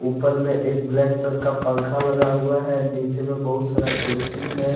ऊपर में एक ब्लैक कलर का पंखा लगा हुआ है नीचे में बहुत सारा कुर्सी है।